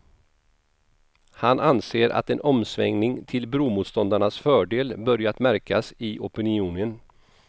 Han anser att en omsvängning till bromotståndarnas fördel börjat märkas i opinionen.